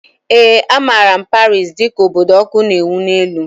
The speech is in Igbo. Ee, a maara Paris dị ka obodo ọkụ na ewu n'elu